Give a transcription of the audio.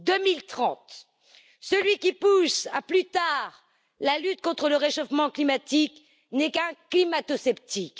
2030. Celui qui repousse à plus tard la lutte contre le réchauffement climatique n'est qu'un climatosceptique.